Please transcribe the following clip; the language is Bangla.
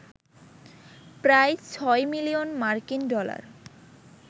প্রায় ৬ মিলিয়ন মার্কিন ডলার